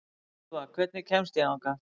Úlfa, hvernig kemst ég þangað?